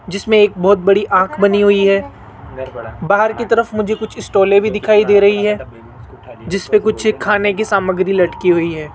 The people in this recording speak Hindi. जिसमें एक बहुत बड़ी आंख बनी हुई है बाहर की तरफ मुझे कुछ स्टॉले भी दिखाई दे रही है जिसपे कुछ खाने की सामग्री लटकी हुई है।